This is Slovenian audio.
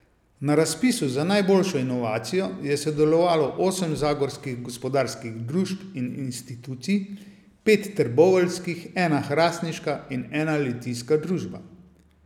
Na razpisu za najboljšo inovacijo je sodelovalo osem zagorskih gospodarskih družb in institucij, pet trboveljskih, ena hrastniška in ena litijska družba.